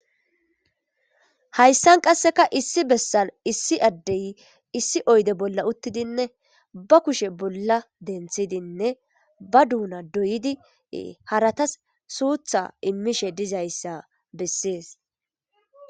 Hayssan qasseka issi bessan issi addey issi oyde bolla uttidinne ba kushe bolla denthidinne ba duuna doyIdi haratas suutha immishe dizayssa bessees.